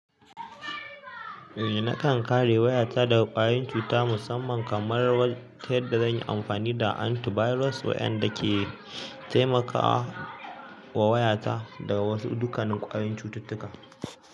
Eh nakan kare wayata daga ƙwayoyin cuta musamman kamar yan da zan yi amfani da antivirus wayan da ke taimakawa wayata daga wasu dukkanin ƙwayoyin cututtuka.